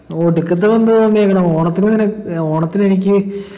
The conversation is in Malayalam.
ഒടുക്കത്തെ ബന്ധാ തോന്നിയെക്കണ് ഓണത്തിന് ഞാന് ഏർ ഓണത്തിനെനിക്ക്